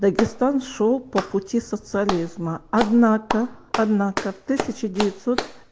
дагестан шёл по пути социализма однако однако в тысячу девятьсот